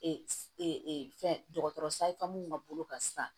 Ee fɛn dɔgɔtɔrɔ minnu ka bolo kan sisan